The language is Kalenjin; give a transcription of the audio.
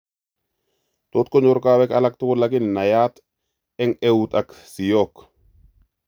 Tot konyor kowek alaktugul lakini nayaat eng' euuta ak siook